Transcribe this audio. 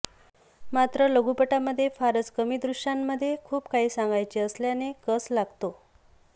मात्र लघुपटामध्ये फारच कमी दृश्यांमध्ये खूप काही सांगायचे असल्याने कस लागतो